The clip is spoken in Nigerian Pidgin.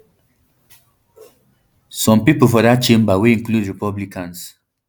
some pipo for dat chamber wey include republicans